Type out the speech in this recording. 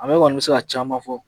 Ale kɔni bɛ se ka caman fɔ